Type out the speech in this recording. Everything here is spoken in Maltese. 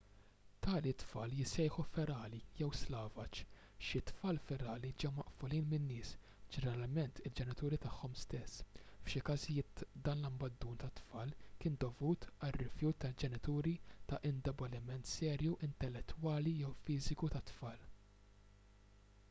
tali tfal jissejħu ferali jew slavaġ. xi tfal ferali ġew maqfulin minn nies ġeneralment il-ġenituri tagħhom stess; f’xi każijiet dan l-abbandun tat-tfal kien dovut għar-rifjut tal-ġenituri ta’ indeboliment serju intellettwali jew fiżiku tat-tfal